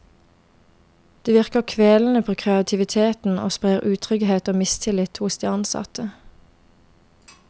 Det virker kvelende på kreativiteten og sprer utrygghet og mistillit hos de ansatte.